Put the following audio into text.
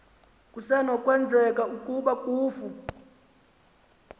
kusenokwenzeka ukuba kufu